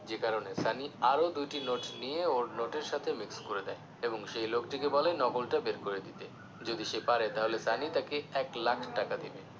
যে কারণে সানি আরও দুটি নোট নিয়ে ওর নোটের সাথে mix করে দেয় এবং সেই লোকটিকে বলে নকল টা বের করে দিতে যদি সে পারে তাহলে সানি তাকে এক লাখ টাকা দিবে